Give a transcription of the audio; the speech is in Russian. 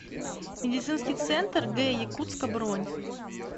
медицинский центр г якутска бронь